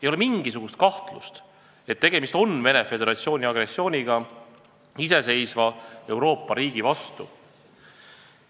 Ei ole mingisugust kahtlust, et tegemist on Venemaa Föderatsiooni agressiooniga iseseisva Euroopa riigi vastu.